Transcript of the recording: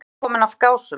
Mann nýkominn af Gásum.